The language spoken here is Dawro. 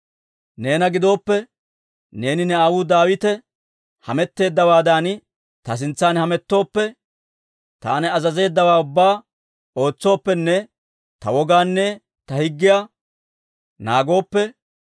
«Neena gidooppe, neeni ne aawuu Daawite hametteeddawaadan ta sintsan hamettooppe, taani azazeeddawaa ubbaa ootsooppenne ta wogaanne ta higgiyaa naagooppe,